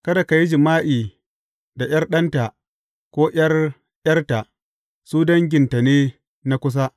Kada ka yi jima’i da ’yar ɗanta ko ’yar ’yarta; su danginta ne na kusa.